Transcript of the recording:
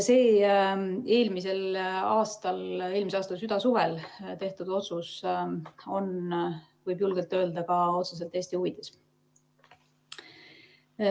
See eelmise aasta südasuvel tehtud otsus on, võib julgelt öelda, ka otseselt Eesti huvides.